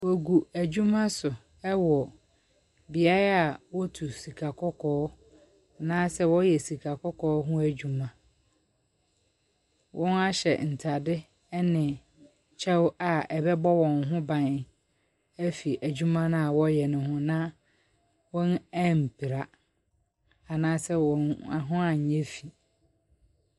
Wogu adwuma so wɔ beae a wotu sikakɔkɔɔ, anaa sɛ wɔyɛ sika kɔkɔɔ ho adwuma. Wɔahyɛ ntare ne kyɛw a ɛbɛbɔ wɔn ho ban afiri adwumano a wɔreyɛ no ho, na wɔampira, anaa sɛ wɔn ho anyɛ fi.